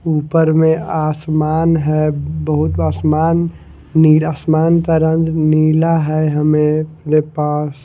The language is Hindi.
ऊपर में आसमान है बहुत आसमान नीरा आसमान का रंग नीला है हमेरे पास --